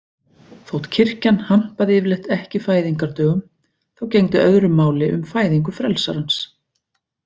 Þótt kirkjan hampaði yfirleitt ekki fæðingardögum þá gegndi öðru máli um fæðingu frelsarans.